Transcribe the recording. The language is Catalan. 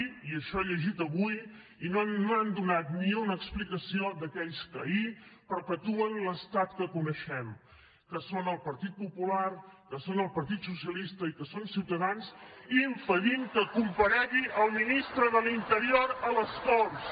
i això ho he llegit avui i no han donat ni una explicació d’aquells que ahir perpetuen l’estat que coneixem que són el partit popular que són el partit socialista i que són ciutadans que impedeixen que comparegui el ministre de l’interior a les corts